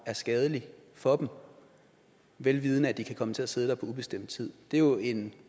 er skadelig for dem vel vidende at de kan komme til at sidde der på ubestemt tid det er jo en